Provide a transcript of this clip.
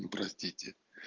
простите